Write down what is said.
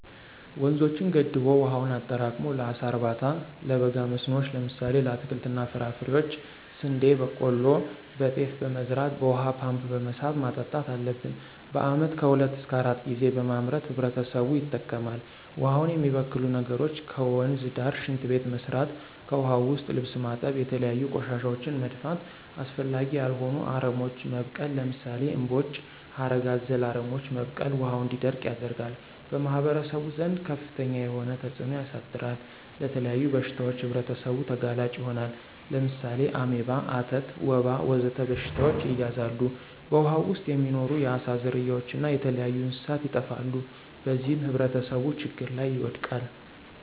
ወንዞችን ገድቦ ዉሀውን አጠራቅሞ ለአሳ እርባታ፣ ለበጋ መስኖዎች ለምሳሌ ለአትክልት እና ፍራፍሬ፣ ስንዴ፣ በቆሎ፣ ጤፍ በመዝራት በውሃ ፓምፕ በመሳብ ማጠጣት አለብን። በአመት ከሁለት እሰከ አራት ጊዜ በማምረት ህብረተሰቡ ይጠቀማል። ውሃውን የሚበክሉ ነገሮች ከወንዝ ዳር ሽንት ቤት መስራት። ከዉሀ ዉስጥ ልብስ ማጠብ፣ የተለያዩ ቆሻሻወችን መድፋት፣ አስፈላጊ ያልሆኑ አረሞች መብቀል ለምሳሌ እምቦጭ፣ ሀረግ አዘል አረሞች መብቀል ውሀው እንዲደርቅ ያደርጋል። በማህበረሰቡ ዘንድ ከፍተኛ የሆነ ተፅእኖ ያሳድራል። ለተለያዩ በሽታዎች ህብረተሰቡ ተጋላጭ ይሆናሉ። ለምሳሌ አሜባ፣ አተት፣ ወባ ወዘተ በሽታዎች ይያዛሉ። በውሃው ዉስጥ የሚኖሩ የአሳ ዝርያዎች እና የተለያዩ እንስሳት ይጠፋሉ። በዚህም ህብረተሰቡ ችግር ላይ ይወድቃል።